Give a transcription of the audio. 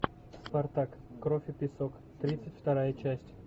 спартак кровь и песок тридцать вторая часть